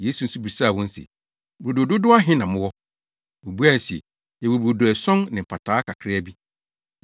Yesu nso bisaa wɔn se, “Brodo dodow ahe na mowɔ?” Wobuae se, “Yɛwɔ brodo ason ne mpataa kakraa bi.”